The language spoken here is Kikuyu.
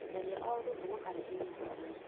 tharia o ũndũ kuuma karenda-inĩ yakwa yothe